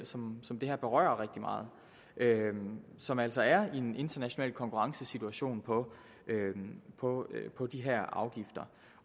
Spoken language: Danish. som som det her berører rigtig meget som altså er i en international konkurrencesituation på på de her afgifter